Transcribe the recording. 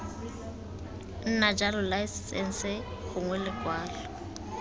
nna jalo laesense gongwe lekwalo